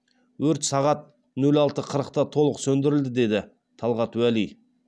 өрт сағат нөл алты қырықта толық сөндірілді деді талғат уәли